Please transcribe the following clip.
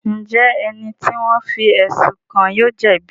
Njẹ ẹni ti wọn fí ẹsun kàn yóò jẹbi?